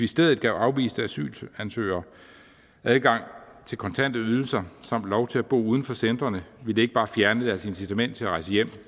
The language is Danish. stedet gav afviste asylansøgere adgang til kontante ydelser samt lov til at bo uden for centrene ville det ikke bare fjerne deres incitament til at rejse hjem